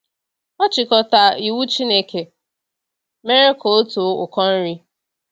Ọchịkọta iwu Chineke mere ka ọ too ụkọ nri?